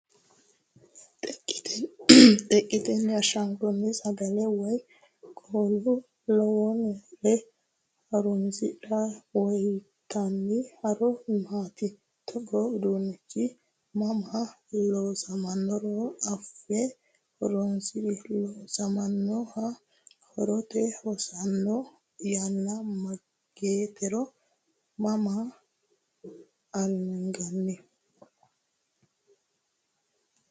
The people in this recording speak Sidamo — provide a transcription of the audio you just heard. Xeeqeteni ashagantino sagale woyi qolo lawinore horonsira uyiitanno horo maati? Togoo uduunicho mama loosaminoro anfe horonsi'nanni? Loosaminnona horote hosanno yanna mageetero mama anganni?